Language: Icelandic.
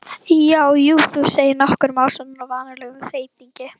Já, jú, þú segir nokkuð, másar hann á vanalegum þeytingi.